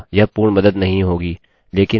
लेकिन मैं केवल आपको एक उदाहरण दे रहा था